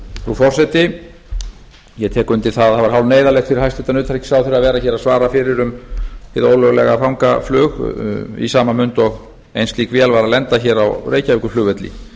frú forseti ég tek undir að það var hálfneyðarlegt fyrir hæstvirtan utanríkisráðherra að vera hér að svara fyrir um hið ólöglega fangaflug í sama mund og ein slík vél var að lenda hér á reykjavíkurflugvelli